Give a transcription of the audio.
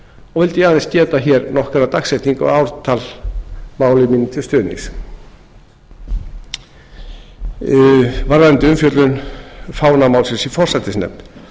og vildi ég aðeins geta nokkurra dagsetninga og ártala máli mínu til stuðnings varðandi umfjöllun fánamálsins í forsætisnefnd